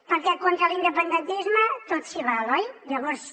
perquè contra l’independentisme tot s’hi val oi llavors